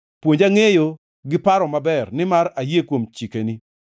Puonja ngʼeyo gi paro maber, nimar ayie kuom chikeni.